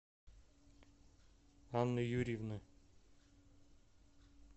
анны юрьевны